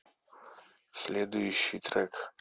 следующий трек